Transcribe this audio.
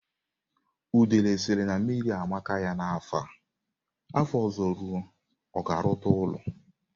Udele sịrị na mmiri amaka ya n'afọ a, afọ ọzọ rụọ, ọ ga-arụta ụlọ?